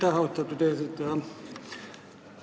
Aitäh, austatud eesistuja!